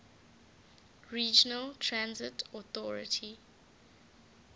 regional transit authority